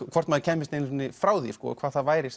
hvort maður kæmist einu sinni frá því og hvað það væri